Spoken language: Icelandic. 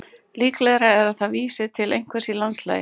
Líklegra er að það vísi til einhvers í landslagi.